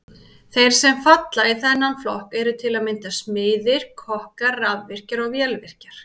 Þeir sem falla í þennan flokk eru til að mynda smiðir, kokkar, rafvirkjar og vélvirkjar.